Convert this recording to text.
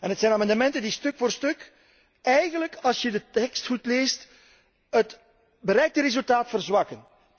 Het zijn amendementen die stuk voor stuk eigenlijk, als je de tekst goed leest, het bereikte resultaat verzwakken.